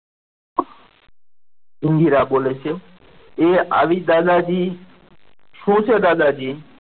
ઇન્દિરા બોલે છે એ આવી દાદાજી શું છે દાદાજી.